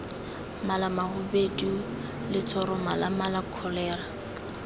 malamahubedu letshoroma la mala kholera